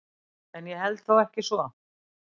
En ég held þó ekki svo.